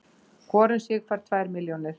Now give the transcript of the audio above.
Hvor um sig fær tvær milljónir